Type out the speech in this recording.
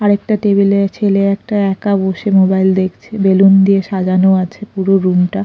আর একটা টেবিল -এ ছেলে একটা একা বসে মোবাইল দেখছে বেলুন দিয়ে সাজানো আছে পুরো রুম -টা।